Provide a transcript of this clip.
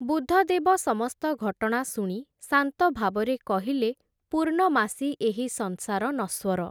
ବୁଦ୍ଧଦେବ ସମସ୍ତ ଘଟଣା ଶୁଣି ଶାନ୍ତ ଭାବରେ କହିଲେ, ପୂର୍ଣ୍ଣମାସୀ ଏହି ସଂସାର ନଶ୍ୱର ।